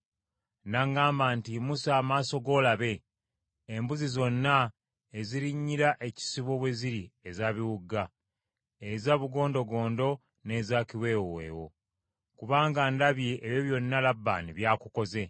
N’aŋŋamba nti, ‘Yimusa amaaso go olabe, embuzi zonna ezirinnyira ekisibo bwe ziri eza biwuuga, eza bugondogondo n’eza kiweewoweewo; kubanga ndabye ebyo byonna Labbaani by’akukoze.